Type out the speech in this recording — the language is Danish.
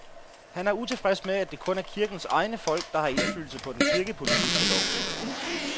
Han er utilfreds med, at det kun er kirkens egne folk, der har indflydelse på den kirkepolitiske lovgivning.